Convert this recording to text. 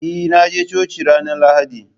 Eh na je coci ran lahadi